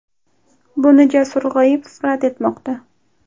Buni Jasur G‘oyipov rad etmoqda.